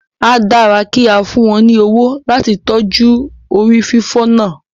A dára kí a fún wọn ní owó láti tọ́jú rí fífi náà